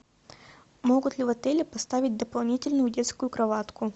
могут ли в отеле поставить дополнительную детскую кроватку